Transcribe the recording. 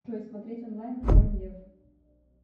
джой смотреть онлайн король лев